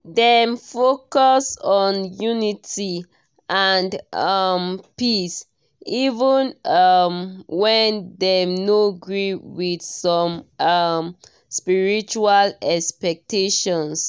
dem focus on unity and um peace even um when dem no gree with some um spiritual expectations.